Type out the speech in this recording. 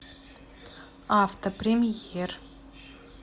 авто премьер